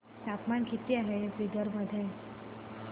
तापमान किती आहे बिदर मध्ये